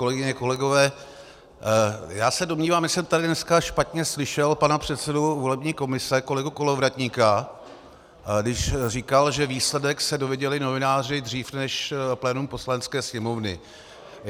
Kolegyně, kolegové, já se domnívám, že jsem tady dneska špatně slyšel pana předsedu volební komise kolegu Kolovratníka, když říkal, že výsledek se dozvěděli novináři dřív než plénum Poslanecké sněmovny.